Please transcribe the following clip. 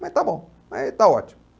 Mas está bom, aí está ótimo.